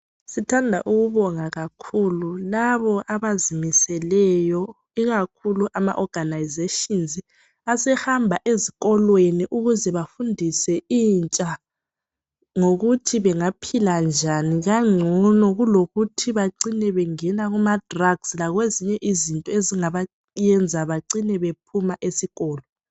Sithanda ukubonga kakhulu labo abazimiseleyo ikakhulu ama organizations asehamba ezikolweni ukuze bafundise intsha ukuthi bangaphila njani kangcono kulokuthi bacine bengena kuma drugs lakwezinye izinto ezingabayenza bacine bephuma esikolo.